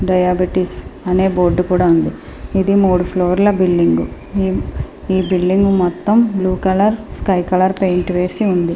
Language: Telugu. డియాబెటిస్ అనే బోర్డు కూడా ఉంది. ఇది మూడు ఫ్లోర్ ల బిల్డింగ్ . ఈ బిల్డింగ్ మొత్తం blue colour sky colour painting వేసి ఉంది.